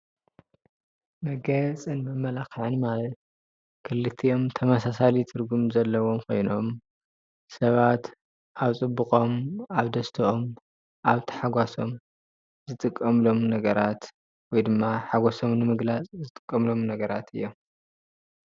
መጋየፅን መማላክዕን ማለት ክልቲኦም ተመሳሳሊ ትርጉም ዘለዎም ኮይኖም ሰባት አብ ፅቡቆም አብ ደስትኦም አብ ታሓጓሶም ዝጥቀምሎም ነገራት ወይ ድማ ሓጎሶም ንምግላፅ ዝጥቀምሎም ነገራት እዮም ።